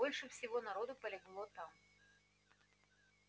больше всего народу полегло там